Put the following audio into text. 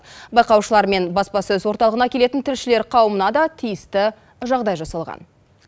байқаушылар мен баспасөз орталығына келетін тілшілер қауымына да тиісті жағдай жасалған